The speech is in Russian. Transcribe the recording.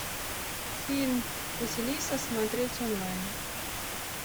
фильм василиса смотреть онлайн